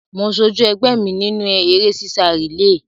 Mo sojú ẹgbẹ́ mi nínú eré sísá rìléè.